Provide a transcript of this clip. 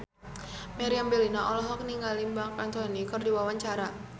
Meriam Bellina olohok ningali Marc Anthony keur diwawancara